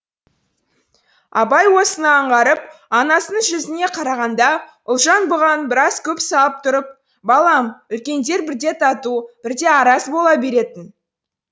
абай осыны аңғарып анасының жүзіне қарағанда ұлжан бұған біраз көз салып тұрып балам үлкендер бірде тату бірде араз бола беретін